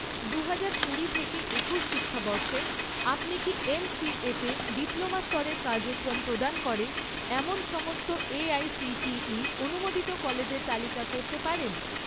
দুহাজার কুড়ি থেকে একুশ শিক্ষাবর্ষে, আপনি কি এমসিএ তে ডিপ্লোমা স্তরের কার্যক্রম প্রদান করে এমন সমস্ত এআইসিটিই অনুমোদিত কলেজের তালিকা করতে পারেন?